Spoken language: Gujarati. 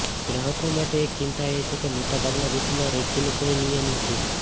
ગ્રાહકો માટે એક ચિંતા એ છે કે મોટાભાગના દેશોમાં રેકીનું કોઈ નિયમન નથી